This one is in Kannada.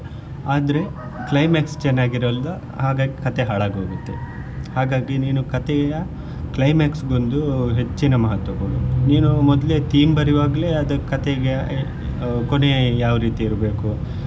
ಆದ್ರೆ climax ಚೆನ್ನಾಗಿರಲ್ಲ ಹಾಗಾಗಿ ಕಥೆ ಹಾಳಾಗಿ ಹೋಗುತ್ತೆ ಹಾಗಾಗಿ ನೀನು ಕಥೆಯ climax ಗೊಂದು ಹೆಚ್ಚಿನ ಮಹತ್ವ ಕೊಡು ನೀನು ಮೊದ್ಲೇ theme ಬರಿಯುವಾಗ್ಲೆ ಅದು ಕಥೆಯ ಕೊನೆ ಯಾವ್ ರೀತಿ ಇರ್ಬೇಕು.